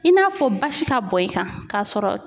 I n'a fɔ basi ka bɔn i kan, k'a sɔrɔ